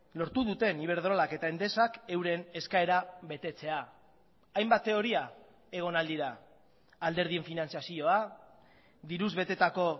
lortu duten iberdrolak eta endesak euren eskaera betetzea hainbat teoria egon ahal dira alderdien finantzazioa diruz betetako